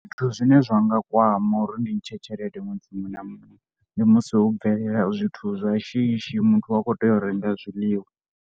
Zwithu zwine zwa nga kwama uri ndi ntshe tshelede ṅwedzi muṅwe na muṅwe ndi musi ho bvelela zwithu zwa shishi muthu wa kho tea u renga zwiḽiwa.